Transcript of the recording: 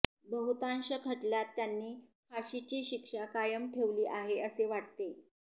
बहुतांश खटल्यात त्यांनी फाशीची शिक्षा कायम ठेवली आहे असे वाटते